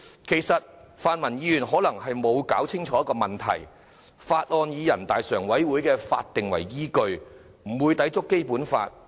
其實，泛民議員可能沒有弄清楚一個問題，就是《條例草案》以人大常委會的決定為依據，不會抵觸《基本法》。